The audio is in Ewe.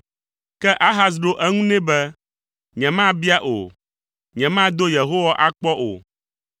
Ke Ahaz ɖo eŋu nɛ be, “Nyemabia o; nyemado Yehowa akpɔ o.”